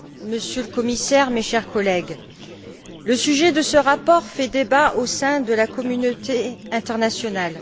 Monsieur le Commissaire, mes chers collègues, le sujet de ce rapport fait débat au sein de la communauté internationale.